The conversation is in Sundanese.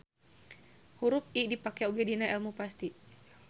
Hurup I dipake oge dina elmu pasti.